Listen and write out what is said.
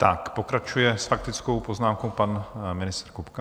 Tak pokračuje s faktickou poznámkou pan ministr Kupka.